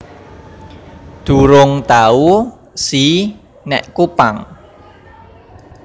Durung tau si nek Kupang